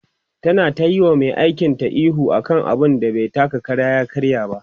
ta na tayi wa Mai aikin ta ihu akan abun da bai taka Kara ya karya ba